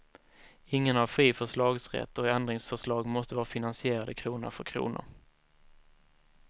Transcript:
Ingen har fri förslagsrätt och ändringsförslag måste vara finansierade krona för krona.